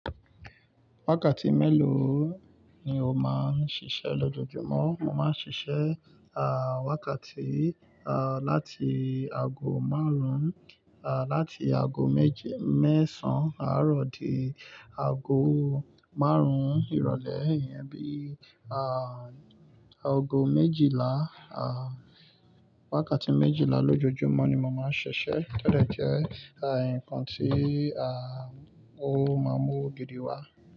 Wákàtí mélòó ni o máa ń ṣiṣẹ́ lójoojúmọ́? Mo máa ń ṣiṣẹ́ wákàtí láti ago márùn-ún láti ago méje mẹ́sàn-án árọ̀ di ago márùn-ún ìrọ̀lẹ́ iyẹn bí ago méjìlá wákàtí méjìlá lójoojúmọ́ ni mo máa ń ṣiṣẹ́. To de jẹ́ nǹkan ti ó máa mú òwo gidi wá.